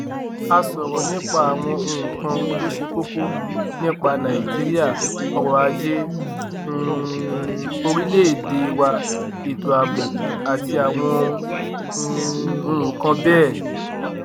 a sọrọ nípa àwọn nǹkan tó ṣe kókó nípa nàìjíríà ọrọ ajé um orílẹèdè wa ètò ààbò àti àwọn um nǹkan bẹẹ